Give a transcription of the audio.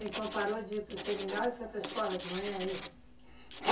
Então parou de ir para o Seringal e foi para a escola de manhã, é isso?